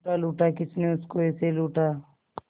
लूटा लूटा किसने उसको ऐसे लूटा